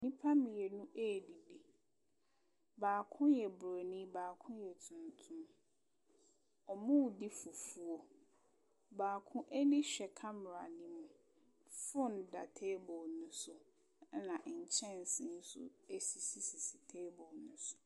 Nipa mmienu ɛdidi baako yɛ borɔni baako yɛ tuntum ɔmɔ di fufuo baako ani hwɛ kamara ne mu fon da table no so ɛna nkyɛnsee ɛsisi table no so.